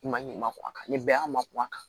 I ma ɲininka ko a ka nin bɛɛ y'a ma kuwa a kan